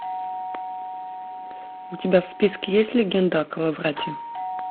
у тебя в списке есть легенда о коловрате